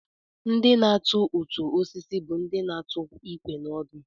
Ndị na-atu ọtụ osisi bụ ndị na-atụ ikwe na ọdụ